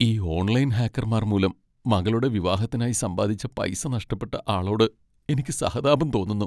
ഈ ഓൺലൈൻ ഹാക്കർമാർ മൂലം മകളുടെ വിവാഹത്തിനായി സമ്പാദിച്ച പൈസ നഷ്ടപ്പെട്ട ആളോട് എനിക്ക് സഹതാപം തോന്നുന്നു.